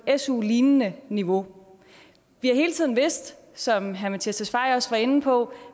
et su lignende niveau vi har hele tiden vidst som herre mattias tesfaye også var inde på